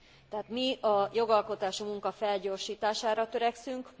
Tehát mi a jogalkotási munka felgyorsítására törekszünk.